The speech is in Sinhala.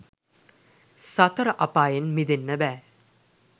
සතර අපායෙන් මිදෙන්න බෑ.